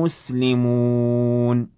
مُسْلِمُونَ